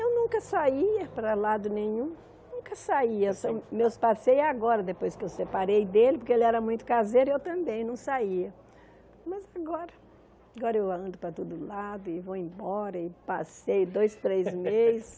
Eu nunca saía para lado nenhum, nunca saía, são meus passeios é agora, depois que eu separei dele, porque ele era muito caseiro e eu também não saía, mas agora agora eu ando para todo lado e vou embora, e passei dois, três meses,